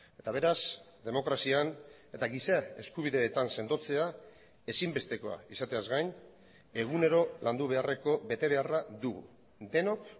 eta beraz demokrazian eta giza eskubideetan sendotzea ezinbestekoa izateaz gain egunero landu beharreko betebeharra dugu denok